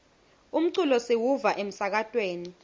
umculo siwuva emsakatweni